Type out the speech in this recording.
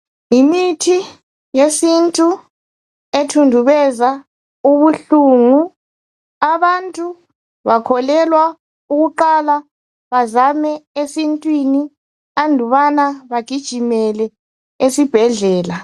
Yimithi yesintu ethundubeza ubuhlungu . Abantu bakholelwa ukuqala bazame esintwini andubana bagijimele esibhedlela.